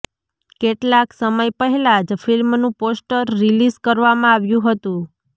કેટલાક સમય પહેલા જ ફિલ્મનું પોસ્ટર રિલીઝ કરવામાં આવ્યું હતું